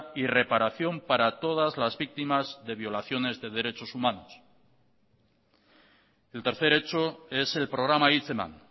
y reparación para todas las víctimas de violaciones de derechos humanos el tercer hecho es el programa hitz eman